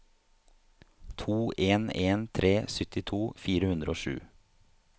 to en en tre syttito fire hundre og sju